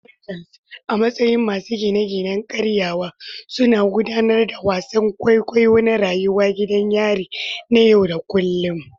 Wardens, a matsayin masu gine-ginen gyarawa, suna gudanar da wasan kwaikwayo na rayuwar gidan yari na yau da kullun.